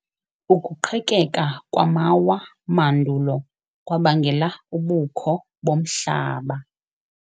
Ukuqhekeka kwamawa mandulo kwabangela ubukho bomhlaba.